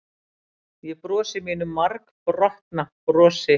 Ég brosi mínu margbrotna brosi.